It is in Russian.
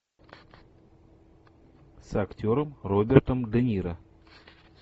с актером робертом де ниро